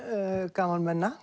gamalmenna